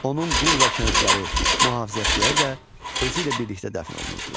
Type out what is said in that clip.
Onun qul və kənizləri, mühafizəçiləri də özü ilə birlikdə dəfn olunurdular.